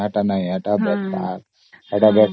ହଁ ସେଇଟି ନୁହଁ ସେ ବେକାର